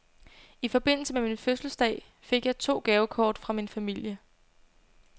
I forbindelse med min fødselsdag fik jeg to gavekort fra min familie.